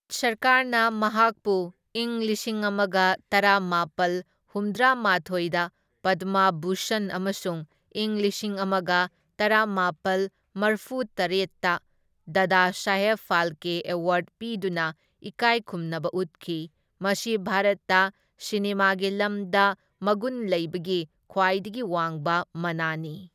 ꯚꯥꯔꯠ ꯁꯔꯀꯥꯔꯅ ꯃꯍꯥꯛꯄꯨ ꯏꯪ ꯂꯤꯁꯤꯡ ꯑꯃꯒ ꯇꯔꯥꯃꯥꯄꯜ ꯍꯨꯝꯗ꯭ꯔꯥꯃꯥꯊꯣꯢꯗ ꯄꯗꯃ ꯚꯨꯁꯟ ꯑꯃꯁꯨꯡ ꯏꯪ ꯂꯤꯁꯤꯡ ꯑꯃꯒ ꯇꯔꯥꯃꯥꯄꯜ ꯃꯔꯐꯨ ꯇꯔꯥꯠꯇ ꯗꯥꯗꯥꯁꯥꯍꯦꯕ ꯐꯥꯜꯀꯦ ꯑꯦꯋꯥꯔ꯭ꯗ ꯄꯤꯗꯨꯅ ꯏꯀꯥꯢꯈꯨꯝꯅꯕ ꯎꯠꯈꯤ, ꯃꯁꯤ ꯚꯥꯔꯠꯇ ꯁꯤꯅꯦꯃꯥꯒꯤ ꯂꯝꯗ ꯃꯒꯨꯟꯂꯩꯕꯒꯤ ꯈ꯭ꯋꯥꯏꯗꯒꯤ ꯋꯥꯡꯕ ꯃꯅꯥꯅꯤ꯫